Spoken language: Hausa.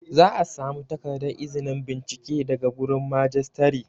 Za a samu takardar izinin bincike daga wurin Majistare